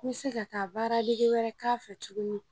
N bɛ se ka taa baara wɛrɛ dege k'a fɛ tuguni.